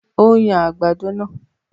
O ń yan àgbàdo naa